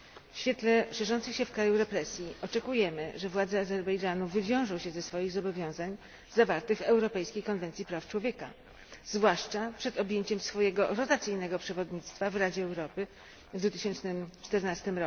W świetle szerzących się w kraju represji, oczekujemy, że władze Azerbejdżanu wywiążą się ze swoich zobowiązań zawartych w Europejskiej Konwencji Praw Człowieka, zwłaszcza przed objęciem swojego rotacyjnego przewodnictwa w Radzie Europy w 2014